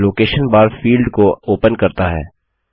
यह location bar field को open करता है